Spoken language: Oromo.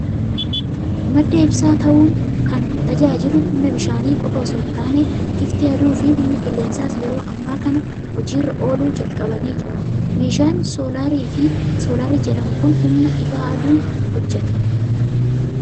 Madda ibsaa ta'uun kan tajaajilu humna bishaanii qofaa osoo hin taane, ifti aduu fi humni qilleensaas yeroo ammaa kana hojii irra ooluu jalqabanii jiru. Meeshaan Soolaarii jedhamu kun humna ifa aduun hojjeta.